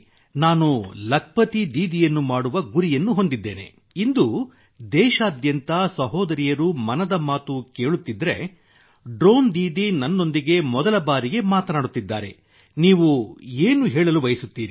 ನಾನು ಲಖ್ಪತಿ ದೀದಿಯನ್ನು ಮಾಡುವ ಗುರಿಯನ್ನು ಹೊಂದಿದ್ದೇನೆ ಇಂದು ದೇಶಾದ್ಯಂತ ಸಹೋದರಿಯರು ಮನದ ಮಾತು ಕೇಳುತ್ತಿದ್ದರೆ ಡ್ರೋನ್ ದೀದಿ ನನ್ನೊಂದಿಗೆ ಮೊದಲ ಬಾರಿಗೆ ಮಾತನಾಡುತ್ತಿದ್ದಾರೆ ನೀವು ಏನು ಹೇಳಲು ಬಯಸುತ್ತೀರಿ